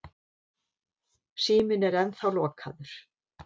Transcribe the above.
Síminn er ennþá lokaður.